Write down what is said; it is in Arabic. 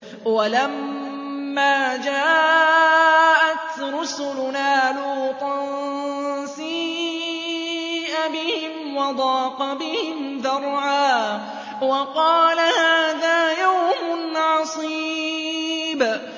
وَلَمَّا جَاءَتْ رُسُلُنَا لُوطًا سِيءَ بِهِمْ وَضَاقَ بِهِمْ ذَرْعًا وَقَالَ هَٰذَا يَوْمٌ عَصِيبٌ